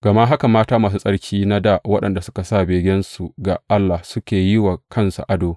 Gama haka matan masu tsarki na dā waɗanda suka sa begensu ga Allah suka yi wa kansu ado.